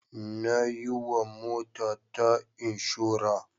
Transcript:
Na yiwa motata inshora.